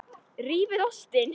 Rífið ostinn.